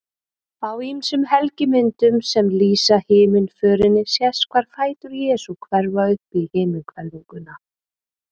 Á ýmsum helgimyndum sem lýsa himnaförinni sést hvar fætur Jesú hverfa upp í himinhvelfinguna.